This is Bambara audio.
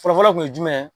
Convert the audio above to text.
Fɔlɔfɔlɔ kun ye jumɛn ye